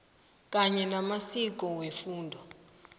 kanye namaziko wefundo